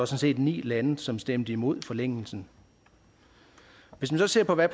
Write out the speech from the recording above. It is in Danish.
set ni lande som stemte imod forlængelsen hvis man så ser på hvad